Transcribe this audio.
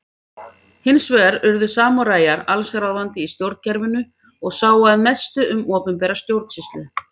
Hins vegar urðu samúræjar alls ráðandi í stjórnkerfinu og sáu að mestu um opinbera stjórnsýslu.